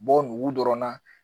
Bɔ nugu dɔrɔn na